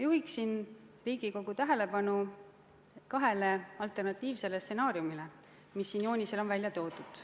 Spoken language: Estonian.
Juhin Riigikogu tähelepanu kahele alternatiivsele stsenaariumile, mis siin joonisel on välja toodud.